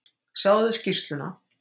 Sjáðu skýrsluna.